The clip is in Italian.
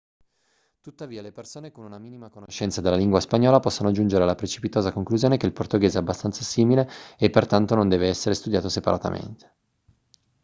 tuttavia le persone con una minima conoscenza della lingua spagnola possono giungere alla precipitosa conclusione che il portoghese è abbastanza simile e pertanto non deve essere studiato separatamente